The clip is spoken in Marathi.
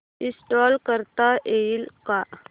इंस्टॉल करता येईल का